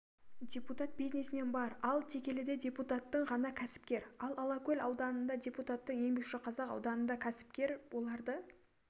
депутат-бизнесмен бар ал текеліде депутаттың ғана кәсіпкер ал алакөл ауданында депутаттың еңбекшіқазақ ауданында кәсіпкер оларды